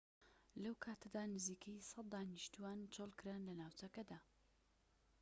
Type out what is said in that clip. لەو کاتەدا نزیکەی ١٠٠ دانیشتوان چۆڵکران لە ناوچەکەدا